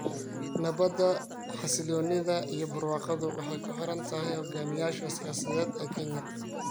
"Nabadda, xasilloonida iyo barwaaqadu waxay ku xiran tahay hoggaamiyeyaasha siyaasadeed ee Kenya.